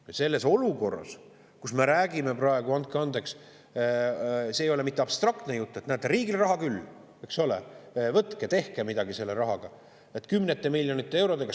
Ja praeguses olukorras me räägime – andke andeks, see ei ole mitte abstraktne jutt –, et näete, riigil raha küll, eks ole, võtke, tehke midagi selle rahaga, kümnete miljonite eurodega.